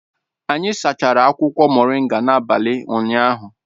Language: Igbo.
Anyị sachara akwụkwọ moringa n'abalị ụnyaahụ